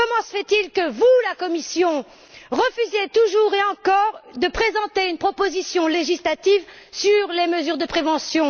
Comment se fait il que vous, la Commission, refusiez toujours et encore de présenter une proposition législative sur les mesures de prévention?